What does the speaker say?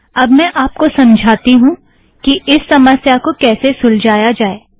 अब मैं आप को समझाती हूँ कि इस समस्या को कैसे सुलझाया जाएं